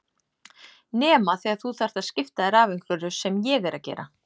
Nema þegar þú þarft að skipta þér af einhverju sem ég er að gera.